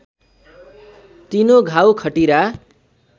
तिनो घाउ खटिरा